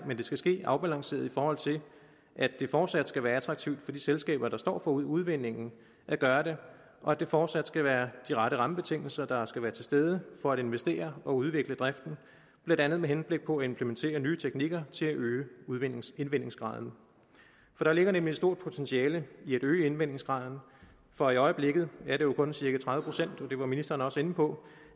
skal ske afbalanceret i forhold til at det fortsat skal være attraktivt for de selskaber der står for udvindingen at gøre det og at det fortsat skal være de rette rammebetingelser der skal være til stede for at investere og udvikle driften blandt andet med henblik på at implementere nye teknikker til at øge indvindingsgraden der ligger nemlig et stort potentiale i at øge indvindingsgraden for i øjeblikket er det jo kun cirka tredive procent det var ministeren også inde på